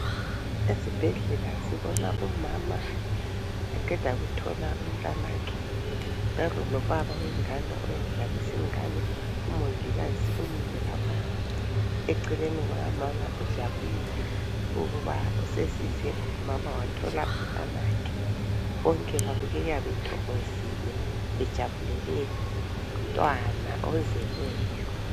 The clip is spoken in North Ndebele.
Esibhedlela sibona umama eqeda kuthola umntanakhe bemi lobaba wengane uyayidlalisa ingane umongikazi umile lapho eceleni kukamama ujabulile ukuba usesize umama wathola umntanakhe. Bonke babukeka bethokozile bejabulele umntwana ozelweyo.